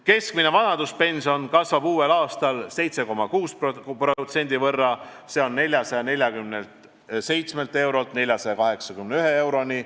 Keskmine vanaduspension kasvab uuel aastal 7,6% võrra, s.o 447 eurolt 481 euroni.